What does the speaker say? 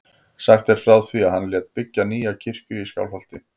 Sagt er frá því að hann lét byggja nýja kirkju í Skálholti.